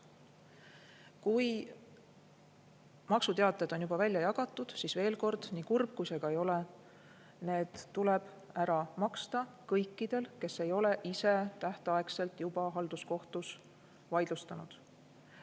Kui maksuteated on juba välja jagatud, siis veel kord: nii kurb kui see ka ei ole, need summad tuleb ära maksta kõikidel, kes ei ole ise tähtaegselt seda halduskohtus vaidlustanud.